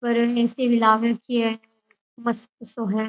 और A C भी लाग राखी है मस्त सो हैं।